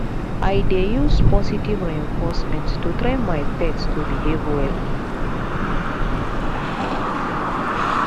i dey use positive reinforcement to train my pet to behave well